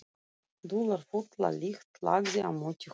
Dularfulla lykt lagði á móti honum.